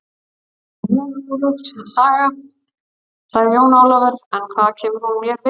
Þetta er mjög hugljúf saga, sagði Jón Ólafur, en hvað kemur hún mér við?